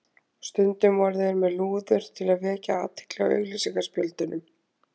Stundum voru þeir með lúður til að vekja athygli á auglýsingaspjöldunum.